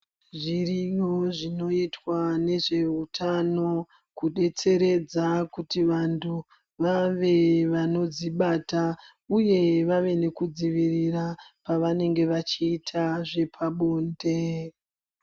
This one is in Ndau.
Zvirìyo zvinoitwa nezveutano kudetseredza kuti vantu vave vanodzibata uye vave nekudzivirira pavanenge vachiita zvepabonde.